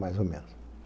Mais ou menos.